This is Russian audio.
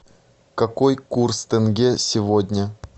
какой курс тенге сегодня